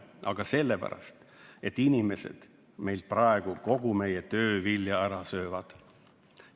Aga sellepärast, et inimesed meilt peaaegu kogu meie töövilja ära röövivad.